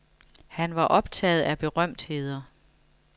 Han var optaget af berømtheder.